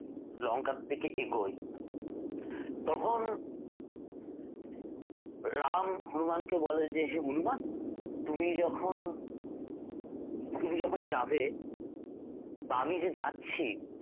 লঙ্কা থেকে এগোই তখন রাম হনুমানকে বলে যে হনুমান তুমি যখন তুমি যখন যাবে বা আমি যে যাচ্ছি